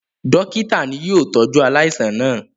Dọ́kítá ni yóò tọ́jú aláìsàn náà.